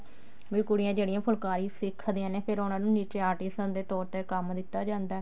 ਵੀ ਕੁੜੀਆਂ ਜਿਹੜੀਆਂ ਫੁਲਕਾਰੀ ਸਿੱਖਦੀਆਂ ਫ਼ੇਰ ਉਹਨਾ ਨੂੰ ਨੀਚੇ artist ਦੇ ਤੋਰ ਤੇ ਕੰਮ ਦਿੱਤਾ ਜਾਂਦਾ